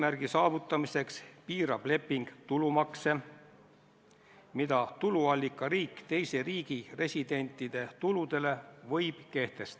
Nii et kui see istung toimus telefoni teel ja te talle helistada isegi ei proovinud, siis tegelikult ei oleks olnud mingit põhjust talle helistamata jätta.